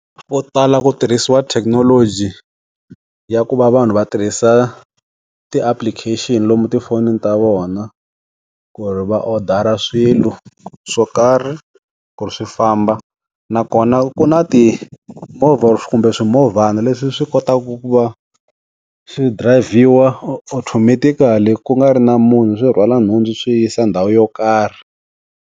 Ku tala ku tirhisiwa thekinoloji, ya ku va vanhu va tirhisa ti-application lomu tifonini ta vona, ku ri va odara swilo, swo karhi, ku ri swi famba. Na kona ku na timovha kumbe swimovhana leswi swi kotaku ku va, swi drayivhiwa automatically ku nga ri na munhu swi rhwala nhundzu swi yi yisa ndhawu yo karhi.